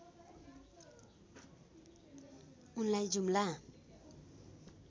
उनलाई जुम्ला